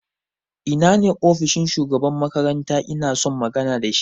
Ina ne ofishin shugaban makaranta inason magana da shi?